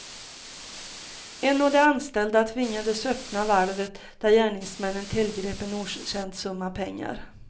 En av de anställda tvingades öppna valvet där gärningsmännen tillgrep en okänd summa pengar.